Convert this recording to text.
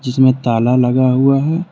जिसमें ताला लगा हुआ है।